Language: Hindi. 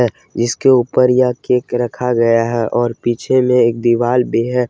जिसके ऊपर यह केक रखा गया है और पीछे में एक दिवाल भी है।